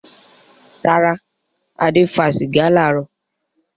Rárá, Adé fa sìgá láàárọ̀.